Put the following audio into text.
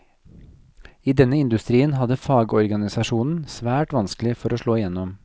I denne industrien hadde fagorganisasjonen svært vanskelig for å slå gjennom.